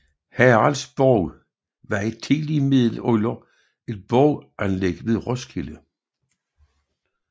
Haraldsborg var i tidlig middelalder et borganlæg ved Roskilde